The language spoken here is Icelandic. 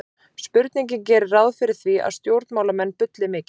Spurningin gerir ráð fyrir því að stjórnmálamenn bulli mikið.